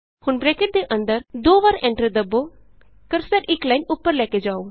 ਹੁਣ ਬਰੈਕਟ ਦੇ ਅੰਦਰ ਦੋ ਵਾਰੀ ਐਂਟਰ ਦਬੋ ਕਰਸਰ ਇਕ ਲਾਈਨ ਉਪਰ ਲੈ ਕੇ ਜਾਉ